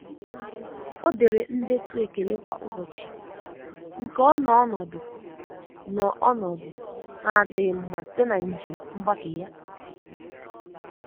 O dere ndetu ekele kwa ụbọchị nke ọ nọ onodu nọ onodu na adịghi mma site na njem mgbake ya.